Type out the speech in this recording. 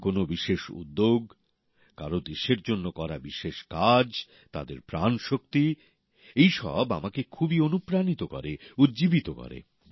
কারো কোনও বিশেষ উদ্যোগ কারো দেশের জন্য করা কোন বিশেষ কাজ তাদের প্রাণশক্তি এই সব আমাকে খুবই অনুপ্রাণিত করে উজ্জীবিত করে